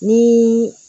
Ni